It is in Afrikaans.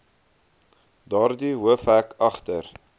daardie hoofhek agter